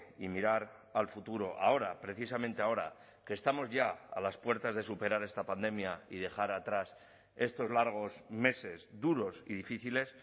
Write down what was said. y mirar al futuro ahora precisamente ahora que estamos ya a las puertas de superar esta pandemia y dejar atrás estos largos meses duros y difíciles